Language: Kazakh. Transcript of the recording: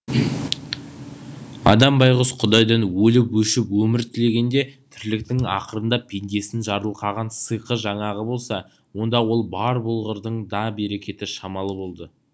адам байғұс құдайдан өліп өшіп өмір тілегенде тірліктің ақырында пендесін жарылқаған сиқы жаңағы болса онда ол бар болғырдың да берекеті шамалы болды